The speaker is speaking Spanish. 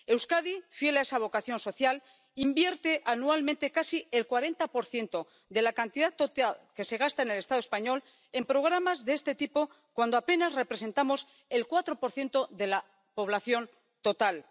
Euskadi, fiel a esa vocación social, invierte anualmente casi el 40 de la cantidad total que se gasta en el Estado español en programas de este tipo cuando apenas representamos el 4 de la población total.